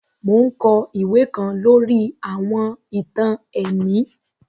Mo n kọ iwe kan lori àwọn ìtàn ẹ̀mí